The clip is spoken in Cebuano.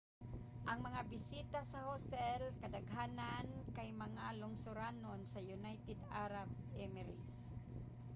ang mga bisita sa hostel kadaghanan kay mga lungsuranon sa united arab emirates